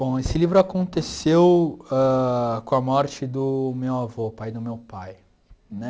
Bom, esse livro aconteceu ãh com a morte do meu avô, pai do meu pai, né?